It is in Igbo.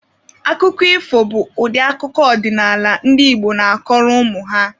Akụkọ ifo bụ ụdị akụkọ ọdịnaala ndị Igbo na-akọrọ ụmụ ha.